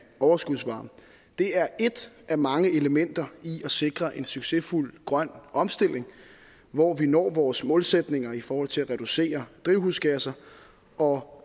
overskudsvarme det er ét af mange elementer i at sikre en succesfuld grøn omstilling hvor vi når vores målsætninger i forhold til at reducere drivhusgasser og hvor